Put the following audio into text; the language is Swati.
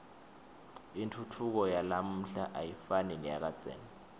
intfutfuko yalamuhla ayifani neyakadzeni